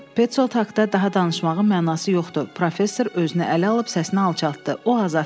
Peçoldt haqda daha danışmağın mənası yoxdur, professor özünə əl alıb səsini alçaltdı.